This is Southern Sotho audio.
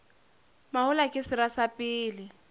mahola ke sera sa pele